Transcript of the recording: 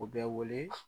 U bɛ wele